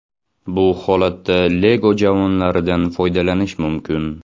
Bu holatda Lego javonlaridan foydalanish mumkin.